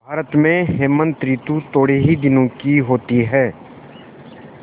भारत में हेमंत ॠतु थोड़े ही दिनों की होती है